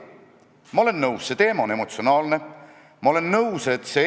Paljudel on iga kolmas sõna roppus, komasid ei osata panna, isegi ametlikud dokumendid kubisevad vigadest.